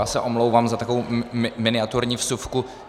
Já se omlouvám za takovou miniaturní vsuvku.